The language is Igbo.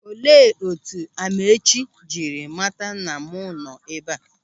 Olee etu Amaechi jiri mata na mụ nọ ebe a?